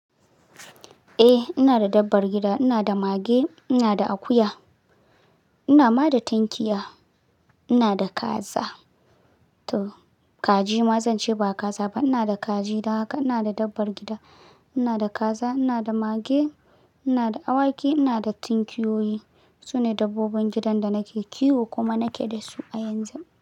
Eh ina da dabbar gida, ina da mage, ina da akuya, ina ma da tunkiya, ina da kaza, to kaji ma zan ce ba kaza ba ina da kaji. Don haka ina da dabbar gida, ina da kaza, ina da mage, ina da awaki, ina da tunkiyoyi. Su ne dabbobin gidan da nake kiwo kuma nake da su a yanzu.